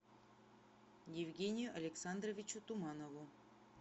евгению александровичу туманову